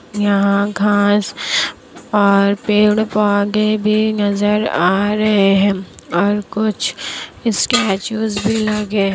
यहाँ घास और पेड़ पौधे भी नजर आ रहे हैं और कुछ स्टैटूज भी लगे --